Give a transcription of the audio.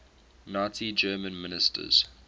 nazi germany ministers